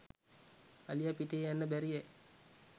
අලිය පිටේ යන්න බැරියැ